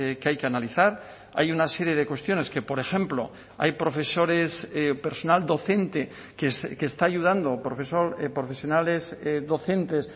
que hay que analizar hay una serie de cuestiones que por ejemplo hay profesores personal docente que está ayudando profesor profesionales docentes